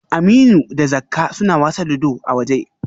Aminu da Zakka suna wasa ludo a waje rhe